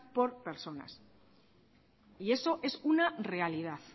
con personas y eso es una realidad